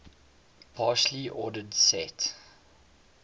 partially ordered set